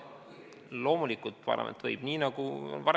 Loomulikult, parlament võib.